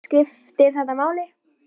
Skiptir þetta máli?